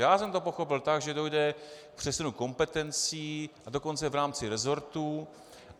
Já jsem to pochopil tak, že dojde k přesunu kompetencí, a dokonce v rámci resortů.